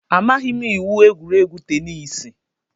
Amaghị m iwu egwuregwu teniisi.